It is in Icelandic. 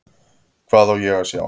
Hvað á ég að sjá?